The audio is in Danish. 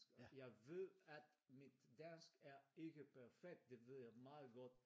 Jeg ved at mit dansk er ikke perfekt det ved jeg meget godt